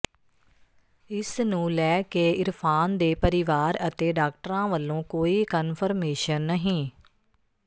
ਇਸ ਨੂੰ ਲੈ ਕੇ ਇਰਫਾਨ ਦੇ ਪਰਿਵਾਰ ਅਤੇ ਡਾਕਟਰਾਂ ਵੱਲੋਂ ਕੋਈ ਕਨਫਰਮੇਸ਼ਨ ਨਹੀਂ